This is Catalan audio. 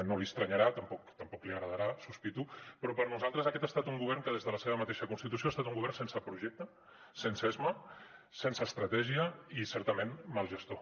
no li estranyarà tampoc li agradarà sospito però per nosaltres aquest ha estat un govern que des de la seva mateixa constitució ha estat un govern sense projecte sense esma sense estratègia i certament mal gestor